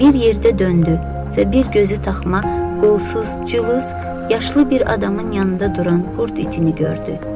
Bir yerdə döndü və bir gözü toxuma, qolsuz, cılız, yaşlı bir adamın yanında duran qurd itini gördü.